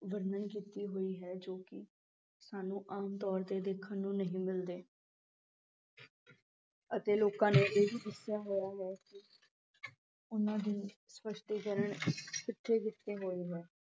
ਵਰਣਨ ਕੀਤੀ ਹੋਈ ਹੈ ਜੋ ਕਿ ਸਾਨੂੰ ਆਮ ਤੌਰ ਤੇ ਦੇਖਣ ਨੂੰ ਨਹੀਂ ਮਿਲਦੇ ਅਤੇ ਲੋਕਾਂ ਨੇ ਇਹ ਵੀ ਦੱਸਿਆ ਹੋਇਆ ਹੈ ਕਿ ਉਨ੍ਹਾਂ ਦੀ ਸਪੱਸ਼ਟੀਕਰਨ ਕਿਥੇ ਕਿਥੇ ਹੋਈ ਹੈ।